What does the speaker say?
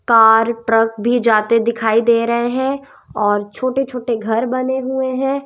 Car truck भी जाते दिखाई दे रहे हैं और छोटे छोटे घर बने हुए हैं।